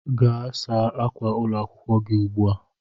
Gaa saa ákwà ụlọ akwụkwọ gi ugbua